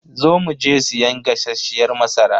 Zo mu je siyan gasasshiyar masara.